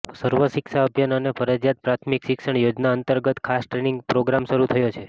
સર્વ શિક્ષા અભિયાન અને ફરજિયાત પ્રાથમિક શિક્ષણ યોજના અંતર્ગત ખાસ ટ્રેનિંગ પ્રોગ્રામ શરૂ થયો છે